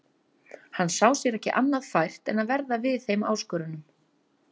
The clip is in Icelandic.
Hann sá sér ekki annað fært en að verða við þeim áskorunum.